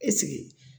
Ɛseke